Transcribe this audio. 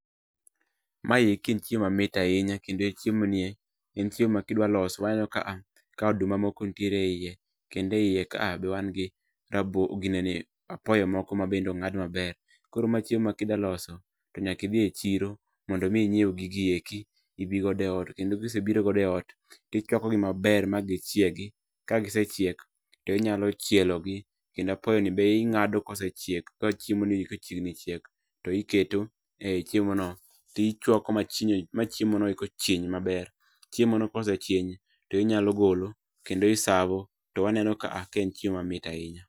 Mayeki en chiemo mamit ahinya kendo e chiemo nie, en chiemo ma kidwaloso waneno ka a ka oduma moko nitiere eyie kendo eyie ka a be wang gi rabolo ginene apoyo moko ma bende ong'ad maber. Koro ma chiemo ma kidwaloso, to nyaka idhi e chiro, mondo mi inyiew gigi eki, ibi godo e ot. Kendo kisebiro godo e ot, tichwakogi maber ma gichiegi, ka gisechiek, to inyalo chielogi, kendo apoyo ni be ing'ado kosechiek ka chiemoni kachiegnni chiek, to iketo e chiemono. Tichwako ma chinyo ma chiemo no chiny maber. Chiemono kosechiny, to inyalo golo, kendo i serve o. To waneno ka a ka en chiemo mamit ahinya